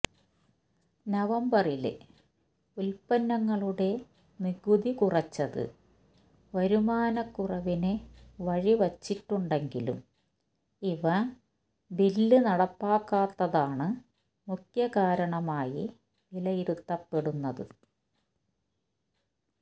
നവംബറില് ഉല്പന്നങ്ങളുടെ നികുതി കുറച്ചത് വരുമാനക്കുറവിന് വഴി വച്ചിട്ടുണ്ടെങ്കിലും ഇ വെ ബില് നടപ്പാക്കാത്തതാണ് മുഖ്യ കാരണമായി വിലയിരുത്തപ്പെടുന്നത്